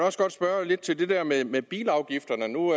også godt spørge lidt til det der med med bilafgifterne nu